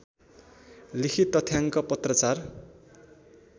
लिखत तथ्याङ्क पत्राचार